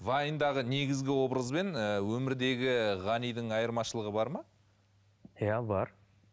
вайндағы негізгі образбен ыыы өмірдегі ғанидың айырмашылығы бар ма иә бар